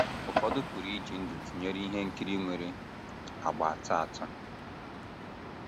Ụfọdụ pụrụ iji ndụ tụnyere ihe nkiri nwere àgbà atọ atọ.